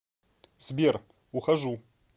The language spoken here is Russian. сбер ухожу